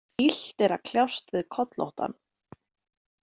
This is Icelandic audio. Illt er að kljást við kollóttan.